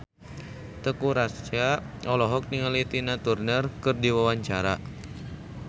Teuku Rassya olohok ningali Tina Turner keur diwawancara